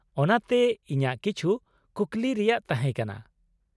ᱚᱱᱟᱛᱮ ᱤᱧᱟᱹᱜ ᱠᱤᱪᱷᱩ ᱠᱩᱠᱞᱤ ᱨᱮᱭᱟᱜ ᱛᱟᱦᱮᱸ ᱠᱟᱱᱟ ᱾